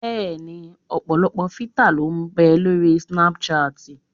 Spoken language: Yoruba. Bẹ́ẹ̀ni ọ̀pọ̀lọpọ̀ fítà ló ń bẹ lóri snápúṣaàtì